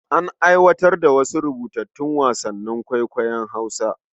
An aiwatar da wasu rubutattun wasannin kwaikwayon Hausa.